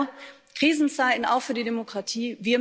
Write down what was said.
Also Krisenzeiten auch für die Demokratie.